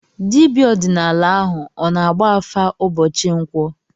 Dibịa ọdịnala ahụ ọ na-agba afa ụbọchị nkwọ?